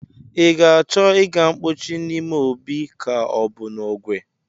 I ga-achọ ịga mpochi n'ime obi ka ọ bụ n'ogwe?